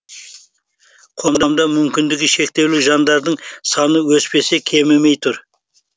қоғамда мүмкіндігі шектеулі жандардың саны өспесе кемімей тұр